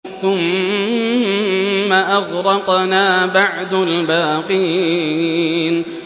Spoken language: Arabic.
ثُمَّ أَغْرَقْنَا بَعْدُ الْبَاقِينَ